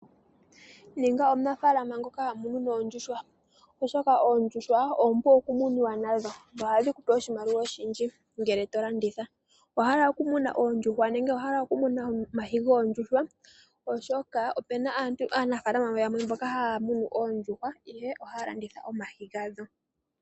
Ninga omunafaalama ngoka ha munu oondjuhwa oshoka oondjuhwa oompu oku muwa. Ohadhi ku pe oshimaliwa oshindji ngele to landitha. Owa hala oku muna oondjuhwa nenge owa hala oku muna omayi goondjuhwa oshoka opena aantu aanafaalama yamwe mboka haa munu oondjuhwa ihe ohaya landitha omayi ga dho.